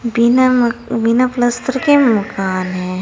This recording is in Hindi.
बिना बिना पलस्तर के मकान है।